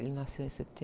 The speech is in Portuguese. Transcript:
Ele nasceu em